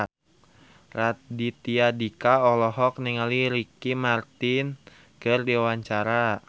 Raditya Dika olohok ningali Ricky Martin keur diwawancara